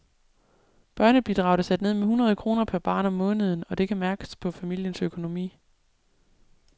Børnebidraget er sat ned med hundrede kroner per barn om måneden, og det kan mærkes på familiens økonomi.